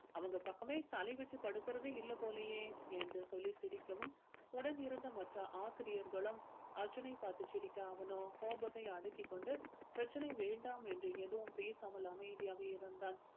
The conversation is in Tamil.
அவங்க பக்கமே தலை வச்சி படுக்கிறதே இல்ல போலயே என்று சொல்லி சிரிக்கவும் உடன் இருந்த மற்ற ஆசிரியர்களும் அர்ஜுனை பார்த்து சிரிக்க அவனோ கோபத்தை அடக்கிக் கொண்டு பிரச்சனை வேண்டாம் என்று எதுவும் பேசாமல் அமைதியாக இருந்தான்